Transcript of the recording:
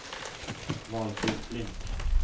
Valfrid Flink